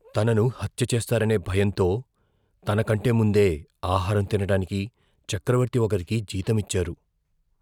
తనను హత్య చేస్తారనే భయంతో, తనకంటే ముందే ఆహారం తినడానికి చక్రవర్తి ఒకరికి జీతం ఇచ్చారు.